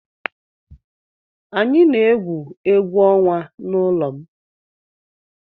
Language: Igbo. Anyị na-egwu egwu ọnwa n'ụlọ m.